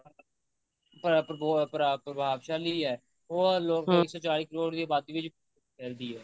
ਪਰ ਪ੍ਰੋ ਪ੍ਰਭਾਵਸ਼ਾਲੀ ਐ ਉਹ ਲੋਕ ਉਹ ਲੋਕ ਇੱਕ ਸੋ ਚਾਲੀ ਕਰੋੜ ਦੀ ਆਬਾਦੀ ਵਿੱਚ ਫੈਲਦੀ ਐ